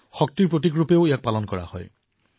ইয়াক শক্তিৰ প্ৰতীক বুলিও বিবেচনা কৰা হয়